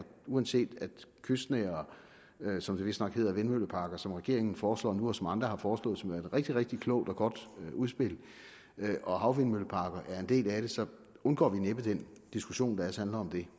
uanset at kystnære som det vistnok hedder vindmølleparker som regeringen foreslår nu og som andre har foreslået som værende et rigtig rigtig klogt og godt udspil og havvindmølleparker er en del af det så undgår vi næppe den diskussion der ellers handler om det